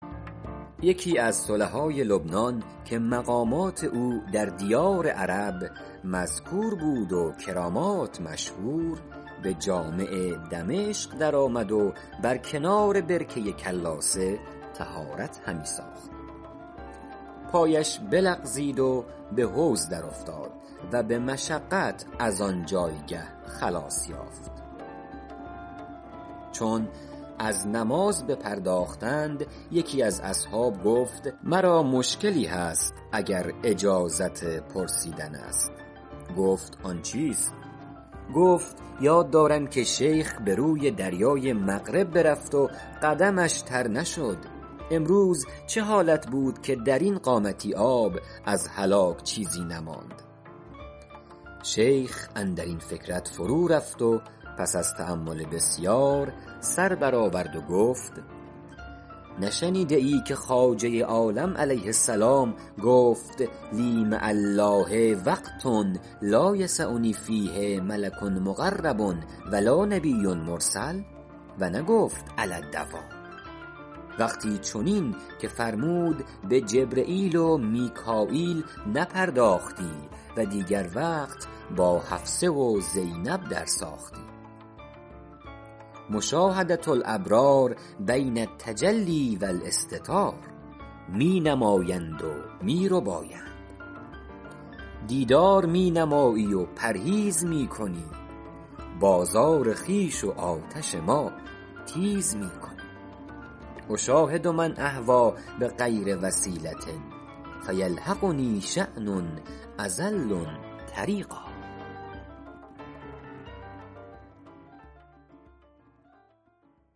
یکی از صلحای لبنان که مقامات او در دیار عرب مذکور بود و کرامات مشهور به جامع دمشق در آمد و بر کنار برکه کلاسه طهارت همی ساخت پایش بلغزید و به حوض در افتاد و به مشقت از آن جایگه خلاص یافت چون از نماز بپرداختند یکی از اصحاب گفت مرا مشکلی هست اگر اجازت پرسیدن است گفت آن چیست گفت یاد دارم که شیخ به روی دریای مغرب برفت و قدمش تر نشد امروز چه حالت بود که در این قامتی آب از هلاک چیزی نماند شیخ اندر این فکرت فرو رفت و پس از تأمل بسیار سر بر آورد و گفت نشنیده ای که خواجه عالم علیه السلام گفت لی مع الله وقت لا یسعنی فیه ملک مقرب و لا نبی مرسل و نگفت علی الدوام وقتی چنین که فرمود به جبرییل و میکاییل نپرداختی و دیگر وقت با حفصه و زینب در ساختی مشاهدة الابرار بین التجلی و الاستتار می نمایند و می ربایند دیدار می نمایی و پرهیز می کنی بازار خویش و آتش ما تیز می کنی اشاهد من اهویٰ بغیر وسیلة فیلحقنی شأن اضل طریقا